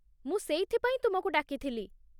ମୁଁ ସେଇଥିପାଇଁ ତୁମକୁ ଡାକିଥିଲି।